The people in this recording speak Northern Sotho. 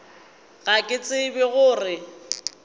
ga ke tsebe go re